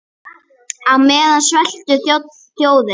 Á meðan sveltur þjóðin.